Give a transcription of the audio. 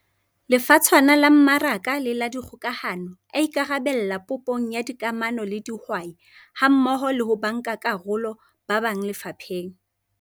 Lefatshwana la Mmaraka le la Dikgokahano a ikarabella popong ya dikamano le dihwai hammoho le ho bankakarolo ba bang lefapheng.